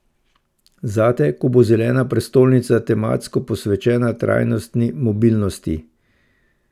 Zate, ko bo zelena prestolnica tematsko posvečena trajnostni mobilnosti.